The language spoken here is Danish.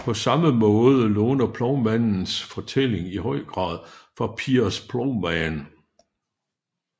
På samme måde låner Plovmandens fortælling i høj grad fra Piers Plowman